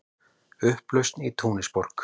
Upplausn í Túnisborg